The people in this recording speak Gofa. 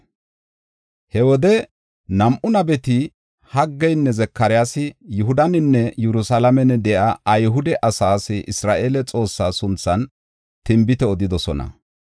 He wode nam7u nabeti Haggeynne Zakaryaasi Yihudaninne Yerusalaamen de7iya Ayhude asaas Isra7eele Xoossa sunthan tinbite odidosona.